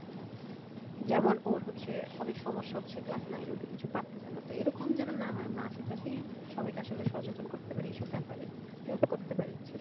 যেমন ওর হচ্ছে অনেক সমস্যা হচ্ছে class nine এ উঠে কিছু পারতেসে না তো এরকম যেন না হয় আমরা আশেপাশেই সবাইকে আসলে সচেতন করতে পারি এই সব ব্যাপারে help করতে পারি যেহেতু